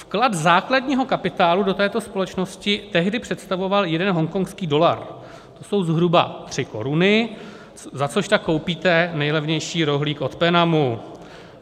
Vklad základního kapitálu do této společnosti tehdy představoval jeden hongkongský dolar, to jsou zhruba 3 koruny, za což tak koupíte nejlevnější rohlík od Penamu.